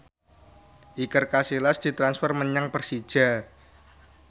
Iker Casillas ditransfer menyang Persija